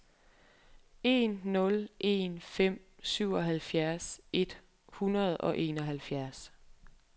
en nul en fem syvoghalvfjerds et hundrede og enoghalvfjerds